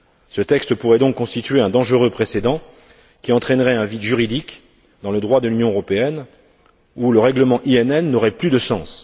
Ce texte pourrait donc constituer un dangereux précédent qui entraînerait un vide juridique dans le droit de l'Union européenne, où le règlement INN n'aurait plus de sens.